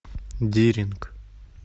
диринг